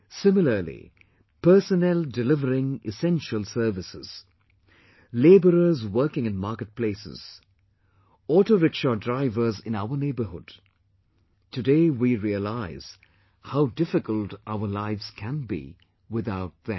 Similarly, personnel delivering essential services, labourers working in marketplaces, the auto rickshaw drivers in our neighbourhood today we realise how difficult our lives can be without them